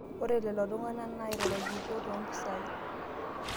ore lelo tung'anak nairorokitio too impisai